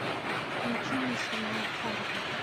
включи мне сериал фарго